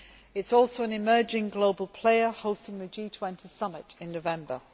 It is also an emerging global player, hosting the G20 summit in November.